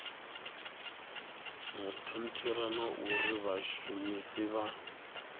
monithara na uri vhashumisi vha